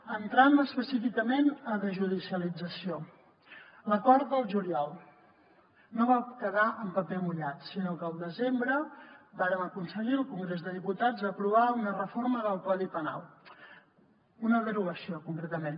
entrant específicament a desjudicialització l’acord del juliol no va quedar en paper mullat sinó que el desembre vàrem aconseguir al congrés de diputats aprovar una reforma del codi penal una derogació concretament